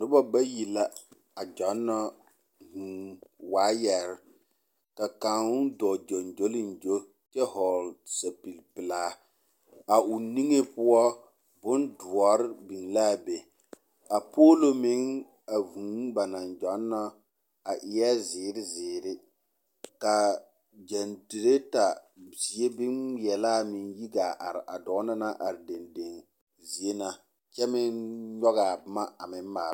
Noba bayi la a gyɔnnɔ hũũ waayɛrr, ka kaŋ dɔɔ gyoŋgyoliŋgyo kyɛ hɔgle sapilpeelaa. A o niŋe poɔ bondoɔr biŋ laa be. A poolo meŋ a hũũ ba naŋ gyɔnnɔ a eɛ zeere zeere ka gyɛntireeta zie boŋŋmeɛlaa meŋ yi gaa are a dɔɔ na naŋ are dendeŋ zie na kyɛ meŋ nyɔgaa boma a meŋ maala.